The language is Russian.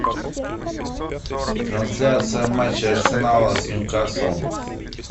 трансляция матча арсенала с ньюкаслом